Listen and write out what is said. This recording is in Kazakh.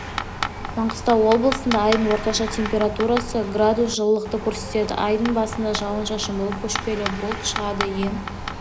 маңғыстау облысында айдың орташа температурасы градус жылылықты көрсетеді айдың басында жауын-шашын болып көшпелі бұлт шығады ең